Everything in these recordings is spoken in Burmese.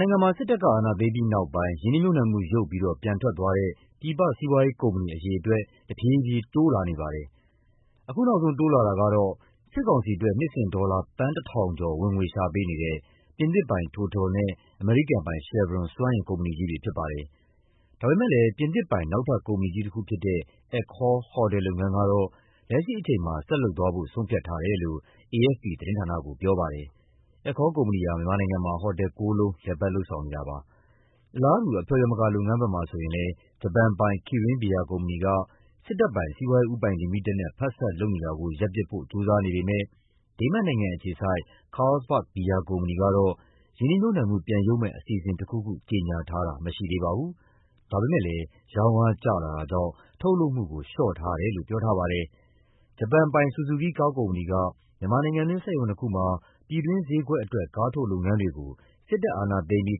နိုင်ငံမှာ စစ်တပ်က အာဏာသိမ်းပြီးနောက်ပိုင်း ရင်းနှီးမြှုပ်နှံမှု ရုပ်ပြီးတော့ ပြန်ထွက်သွားတဲ့ ပြည်ပ စီးပွားရေးကုမ္ပဏီ အရေအတွက် တဖြည်းဖြည်း တိုးလာနေပါတယ်။ အခုနောက်ဆုံး တိုးလာတာကတော့ စစ်ကောင်စီအတွက် နှစ်စဉ် ဒေါ်လာ သန်း ၁,၀၀၀ ကျော် ဝင်ငွေရှာပေးနေတဲ့ ပြင်သစ်ပိုင် TOTAL နဲ့ အမေရိကန်ပိုင် Chevron စွမ်းအင်ကုမ္ပဏီကြီးတွေ ဖြစ်ပါတယ်။ ဒါပေမယ့်လည်း ပြင်သစ်ပိုင် နောက်ထပ် ကုမ္ပဏီကြီးတခုဖြစ်တဲ့ Accor ဟိုတယ်လုပ်ငန်းကတော့ လက်ရှိအချိန်မှာ ဆက်လုပ်သွားဖို့ ဆုံးဖြတ်ထားတယ်လို့ AFP သတင်းဌာနကို ပြောပါတယ်။ Accor ကုမ္ပဏီဟာ မြန်မာနိုင်ငံမှာ ဟိုတယ် ၉ လုံး လည်ပတ် လုပ်ဆောင်နေတာပါ။ အလားတူ အဖျော်ယမကာလုပ်ငန်းဘက်မှာ ဆိုရင်လည်း ဂျပန်ပိုင် Kirin ဘီယာကုမ္ပဏီက စစ်တပ်ပိုင် စီးပွားရေးဦးပိုင်လီမိတက်နဲ့ ဖက်စပ်လုပ်နေတာကို ရပ်ပစ်ဖို့ ကြိုးစားနေပေမယ့် ဒိန်းမတ်နိုင်ငံအခြေစိုက် Carlsberg ဘီယာကုမ္ပဏီကတော့ ရင်းနှီးမြှုပ်နှံမှု ပြန်ရုပ်မယ့် အစီအစဉ်တခုခု ကြေညာထားတာ မရှိသေးပါဘူး။ ဒါပေမယ့်လည်း ရောင်းအားကျလာတာကြောင့် ထုတ်လုပ်မှုကို လျှော့ထားတယ်လို့ ပြောထားပါတယ်။ ဂျပန်ပိုင် ဆူဇူကီး ကားကုမ္ပဏီက မြန်မာနိုင်ငံတွင်း စက်ရုံနှစ်ခုမှာ ပြည်တွင်းဈေးကွက်အတွက် ကားထုတ်လုပ်ငန်းတွေကို စစ်တပ်အာဏာသိမ်းပြီး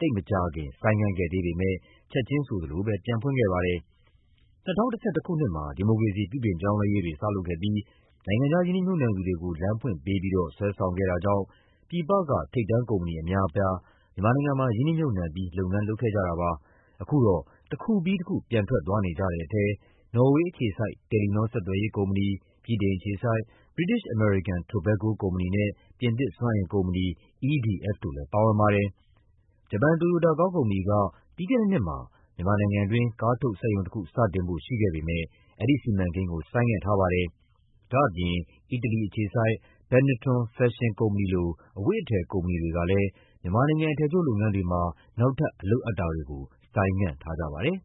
သိပ်မကြာခင် ဆိုင်းငံ့ခဲ့ပေမယ့် ချက်ချင်းဆိုသလိုပဲ ပြန်ဖွင့်ခဲ့ပါတယ်။ ၂၀၁၁ ခုနှစ်မှာ ဒီမိုကရေစီ ပြုပြင်ပြောင်းလဲရေးတွေ စလုပ်ခဲ့ပြီး နိုင်ငံခြားရင်းနှီးမြှုပ်နှံသူတွေကို လမ်းဖွင့်ပေးပြီးတော့ ဆွဲဆောင်ခဲ့တာကြောင့် ပြည်ပက ထိပ်တန်းကုမ္ပဏီ အများအပြား မြန်မာနိုင်ငံမှာ ရင်းနှီးမြှုပ်နှံပြီး လုပ်ငန်းလုပ်ခဲ့ကြတာပါ။ အခုတော့ တခုပြီးတခု ပြန်ထွက်သွားနေကြတဲ့ထဲ နော်ဝေအခြေစိုက် တယ်လီနော ဆက်သွယ်ရေးကုမ္ပဏီ၊ ဗြိတိန်အခြေစိုက် British American Tobacco ကုမ္ပဏီနဲ့ ပြင်သစ်စွမ်းအင်ကုမ္ပဏီ EDF တို့လည်း ပါဝင်ပါတယ်။ ဂျပန် တိုယိုတာကားကုမ္ပဏီက ပြီးခဲ့တဲ့နှစ်မှာ မြန်မာနိုင်ငံတွင်း ကားထုတ်စက်ရုံတခု စတင်ဖို့ ရှိခဲ့ပေမယ့် အဲဒီစီမံကိန်းကို ဆိုင်းငံ့ထားပါတယ်။ ဒါ့အပြင် အီတလီအခြေစိုက် Benetton ဖက်ရှင်ကုမ္ပဏီလို အဝတ်အထည် ကုမ္ပဏီတွေကလည်း မြန်မာနိုင်ငံ အထည်ချုပ်လုပ်ငန်းတွေမှာ နောက်ထပ် အလုပ်အပ်တာတွေကို ဆိုင်းငံ့ထားကြပါတယ်။